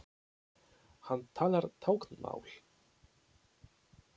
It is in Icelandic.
Hann talar táknmál.